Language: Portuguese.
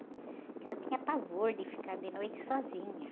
Porque eu tinha pavor de ficar de noite sozinha.